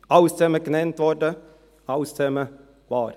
Alles dies wurde genannt, all dies ist wahr.